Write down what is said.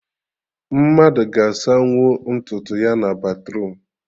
Mmadụ ga-asanwu ntutu ya na batruum